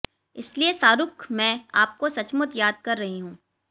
इसलिए शाहरुख मैं आपको सचमुच याद कर रही हूं